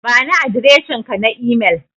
Bani adireshinka na imel.